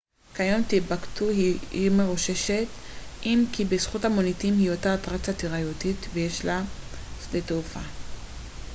כיום טימבוקטו היא עיר מרוששת אם כי בזכות המוניטין היא אותה אטרקציה תיירותית ויש לה שדה תעופה